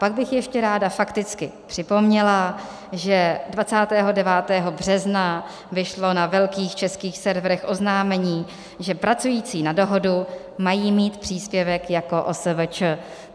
Pak bych ještě ráda fakticky připomněla, že 29. března vyšlo na velkých českých serverech oznámení, že pracující na dohodu mají mít příspěvek jako OSVČ.